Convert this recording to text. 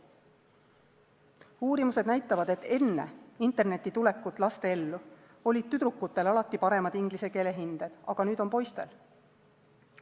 Uurimused näitavad, et enne interneti tulekut laste ellu olid tüdrukutel alati paremad inglise keele hinded, aga nüüd on poistel.